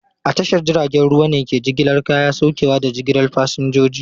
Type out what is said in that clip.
A tashar jiragen ruwa ne ke jigilar kaya, saukewa, da jigilar fasinjoji.